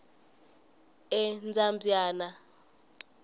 endzambyana